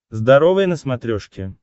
здоровое на смотрешке